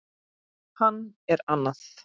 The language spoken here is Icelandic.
Hann er annað